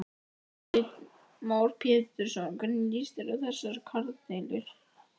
Heimir Már Pétursson: Hvernig lýst þér á þessar kjaradeilur?